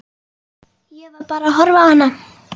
Ég var bara að horfa á hana.